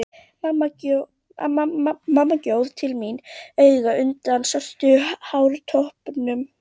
Mamma gjóaði til mín auga undan svörtum hártoppnum.